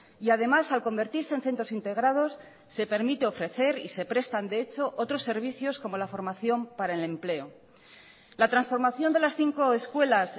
y además al convertirse en centros integrados se permite ofrecer y se prestan de hecho otros servicios como la formación para el empleo la transformación de las cinco escuelas